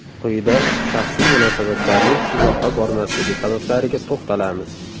Quyida shaxsiy munosabatlarning uzoqqa bormasligi sabablariga to‘xtalamiz.